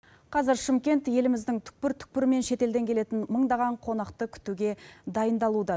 қазір шымкент еліміздің түкпір түкпірі мен шет елден келетін мыңдаған қонақты күтуге дайындалуда